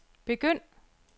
begynd